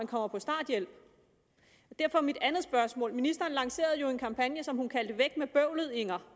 kommer på starthjælp derfor er mit andet spørgsmål ministeren lancerede jo en kampagne som hun kaldte væk med bøvlet inger